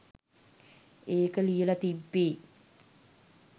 ඒක ලියල තිබ්බෙ